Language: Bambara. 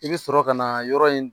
I bɛ sɔrɔ ka na yɔrɔ in